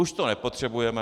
Už to nepotřebujeme.